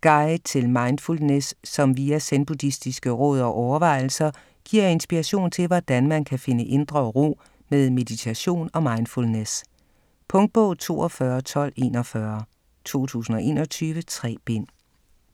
Guide til mindfulness som via zenbuddistiske råd og overvejelser giver inspiration til hvordan man kan finde indre ro med meditation og mindfulness. Punktbog 421241 2021. 3 bind.